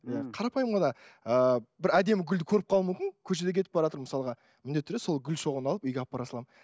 иә қарапайым ғана ыыы бір әдемі гүлді көріп қалуым мүмкін көшеде кетіп баратырмын мысалға міндетті түрде сол гүл шоғын алып үйге алып бара саламын